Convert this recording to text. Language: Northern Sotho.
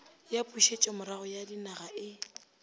ya pušetšomorago ya ninaga e